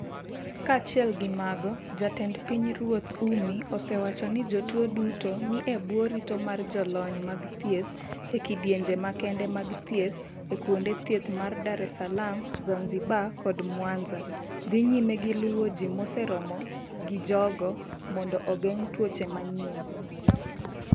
Kaachiel gi mago, Jatend Pinyruoth Ummy osewacho ni jotuo duto ni e bwo rito mar jolony mag thieth e kidienje makende mag thieth e kuonde thieth ma Dar es Salaam, Zanzibar kod Mwanza dhi nyime gi luwo ji moseromo gi jogo mondo ogeng' tuoche manyien.